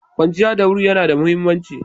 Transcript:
Kwanciya da wuri yana da muhimmanci.